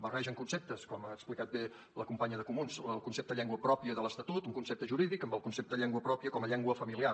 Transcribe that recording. barregen conceptes com ha explicat bé la companya de comuns el concepte de llengua pròpia de l’estatut un concepte jurídic amb el concepte de llengua pròpia com a llengua familiar